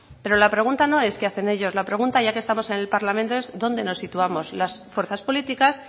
pero la pregunta no es qué hacen ellos la pregunta ya que estamos en el parlamento es dónde nos situamos las fuerzas políticas